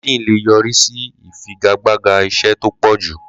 LinkedIn lè yọ̀rí sí ìfìgàgbàgà iṣẹ́ tó pọ̀jù.